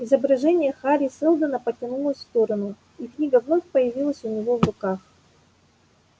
изображение хари сэлдона потянулось в сторону и книга вновь появилась у него в руках